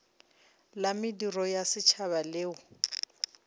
la mediro ya setšhaba leo